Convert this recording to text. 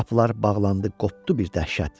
Qapılar bağlandı, qopdu bir dəhşət.